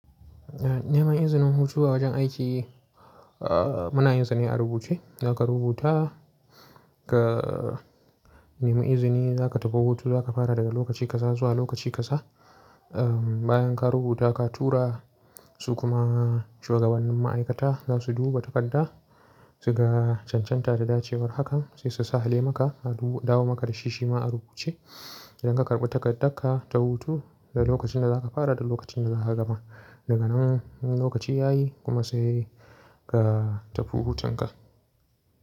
Eh, neman izinin hutu a wajen aiki, ah muna yin sane a rubuce. Zaka rubuta ka, nemi izini za ka tafi hutu, za ka fara daga lokaci kaza zuwa lokaci kasa. Ah bayan ka rubuta, ka tura su kuma shugabannin ma'aikata za su duba takarda su ga cancan tar da dace war haka sai su sa hale maka a du-- dawo maka da shi shima a rubuce. Idan ka karɓi takardar ka ta hutu da lokacin da za ka fara da lokacin da za ka gama, daga nan lokaci ya yi kuma sai ka tafi hutun ka.